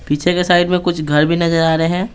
पीछे के साइड में कुछ घर भी नजर आ रहे हैं।